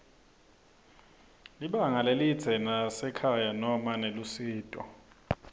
libanga lelidze nasekhaya noma nelusito